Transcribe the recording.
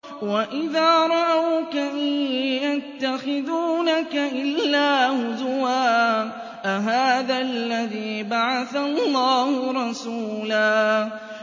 وَإِذَا رَأَوْكَ إِن يَتَّخِذُونَكَ إِلَّا هُزُوًا أَهَٰذَا الَّذِي بَعَثَ اللَّهُ رَسُولًا